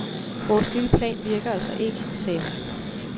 Vores lille plan virker altså ikke, sagde hun.